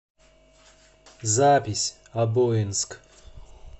запись обоинск